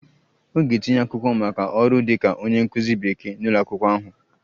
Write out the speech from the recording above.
Ọ ga-etinye akwụkwọ maka ọrụ dịka onye nkụzi Bekee n'ụlọ akwụkwọ ahụ